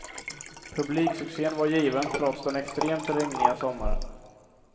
Publiksuccén var given trots den extremt regniga sommaren.